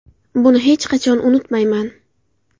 Buni hech qachon unutmayman.